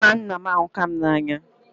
Nna nna m ahukam na anya